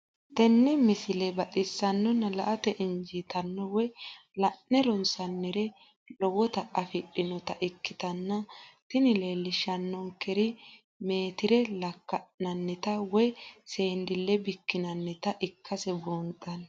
tenne misile baxisannonna la"ate injiitanno woy la'ne ronsannire lowote afidhinota ikkitanna tini leellishshannonkeri meetire lakka'nannita woy seendille bikkinannita ikkase buunxanni.